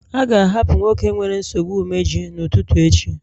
A ga-ahapụ nwoke nwere nsogbu imeju n'ụtụtụ echi